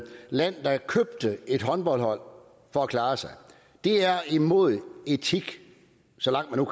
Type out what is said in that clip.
land der købte et håndboldhold for at klare sig det er imod al etik og så langt man